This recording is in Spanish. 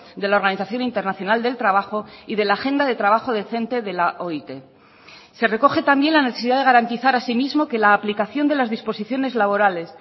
de la organización internacional del trabajo y de la agenda de trabajo decente de la oit se recoge también la necesidad de garantizar asimismo que la aplicación de las disposiciones laborales